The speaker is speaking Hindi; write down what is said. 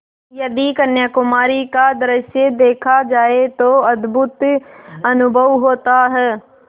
यदि कन्याकुमारी का दृश्य देखा जाए तो अद्भुत अनुभव होता है